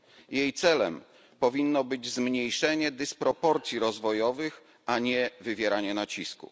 Jej celem powinno być zmniejszenie dysproporcji rozwojowych, a nie wywieranie nacisku.